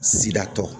Sida tɔ